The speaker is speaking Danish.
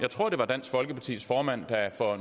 tror det var dansk folkepartis formand der for